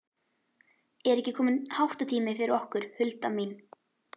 Er ekki kominn háttatími fyrir okkur, Hulda mín?